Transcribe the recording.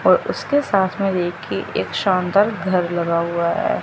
और उसके सांस में देखी एक शानदार घर लगा हुआ है।